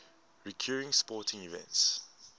recurring sporting events